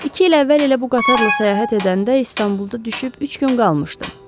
İki il əvvəl elə bu qatarla səyahət edəndə İstanbulda düşüb üç gün qalmışdım.